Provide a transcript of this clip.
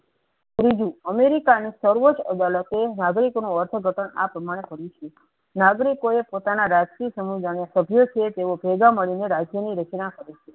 ત્રીજું અમેરિકા ના સર્વદ અદાલતે નાગરિકો નુ વર્થ ઘટન આ પ્રમાણે કરે છે પ્રમાણે નાગરિકો પોતાના ના રાષ્ટ્રીય સમુદા ને સભ્ય છે તેવો ભેગા મળી ને રાજ્ય ની રચના